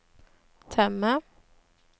temme